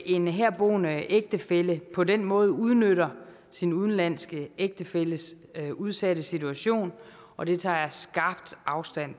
en herboende ægtefælle på den måde udnytter sin udenlandske ægtefælles udsatte situation og det tager jeg skarpt afstand